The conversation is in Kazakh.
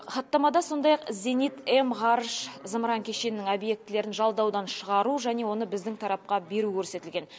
хаттамада сондай ақ зенит м ғарыш зымыран кешенінің объектілерін жалдаудан шығару және оны біздің тарапқа беру көрсетілген